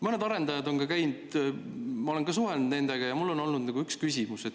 Mõnede arendajatega ma olen ka suhelnud ja mul on olnud üks küsimus.